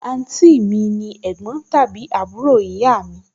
àǹtí mi ni ẹ̀gbọ́n tàbí àbúrò ìyá mi